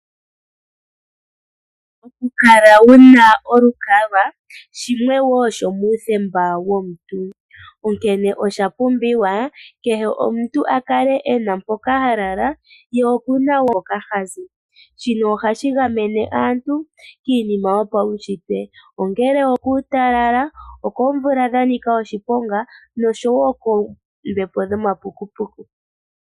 Okukala wu na olukalwa shimwe woo shomuuthemba womuntu, onkene osha pumbiwa kehe omuntu a kale e na mpoka ha lala, ye oku na wo mpoka ha zi. Shino ohashi gamene aantu kiinima wo yopaunshitwe, ongele okuutalala, okomvula ya nika oshiponga nosho wo koombepo dhomapukupuku.